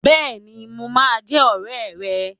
Bẹ́ẹ̀ni, mo máa jẹ́ ọ̀rẹ́ rẹ.